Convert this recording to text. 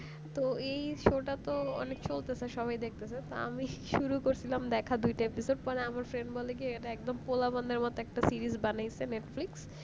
তো এই show টা তো অনেক চলতেছে সবাই দেখতেছে আমি শুরু করছিলাম দেখা দুইটা episode মানে আমার friend এটা একদম প্লাবন দের মতো একটা series বার করেছে Netflix